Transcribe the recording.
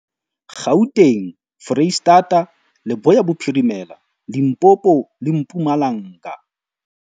Gauteng, Freistata, Leboya Bophirimela, Limpopo le Mpumalanga.